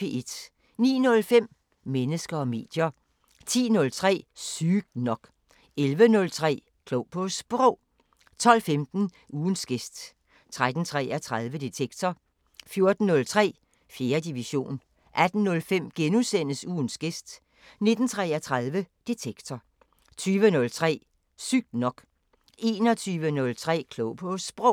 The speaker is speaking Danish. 09:05: Mennesker og medier 10:03: Sygt nok 11:03: Klog på Sprog 12:15: Ugens gæst 13:33: Detektor 14:03: 4. division 18:05: Ugens gæst * 19:33: Detektor 20:03: Sygt nok 21:03: Klog på Sprog